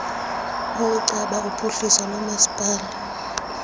ukuceba uphuhliso lomasipala